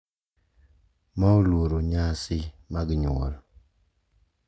Ma oluoro nyasi mag nyuol.